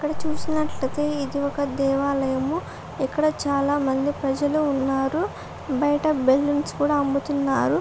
ఇక్కడ చూసినట్లయితే ఇది ఒక దేవాలయము. ఇక్కడ చాలా మంది ప్రజలు ఉన్నారు. బయట బెలూన్స్ కూడా అమ్ముతున్నారు.